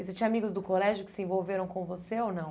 E você tinha amigos do colégio que se envolveram com você ou não?